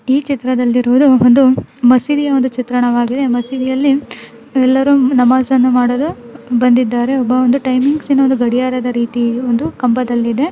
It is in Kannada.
ಈ ಚಿತ್ರಣದಲ್ಲಿರುವುದು ಒಂದು ಮಸೀದಿಯ ಒಂದು ಚಿತ್ರಣವಾಗಿದೆ ಮಸೀದಿಯಲ್ಲಿ ನಮಾಜ್ ಮಾಡಲು ಬಂದಿದ್ದಾರೆ ಒಬ್ಬ ಒಂದು ಇಟೈಮಿಂಗ್ಸ್ ರೀತಿಯಲ್ಲಿದೆ .